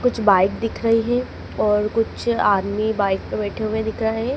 कुछ बाइक दिख रही हैं और कुछ आदमी बाइक पे बैठे हुए दिख रहे है।